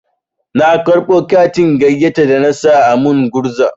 Na karɓo katin gayyata da na sa a min gurza.